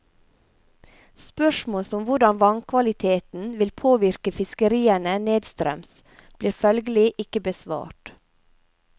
Spørsmål som hvordan vannkvaliteten vil påvirke fiskeriene nedstrøms, blir følgelig ikke besvart.